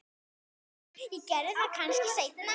Ég geri það kannski seinna.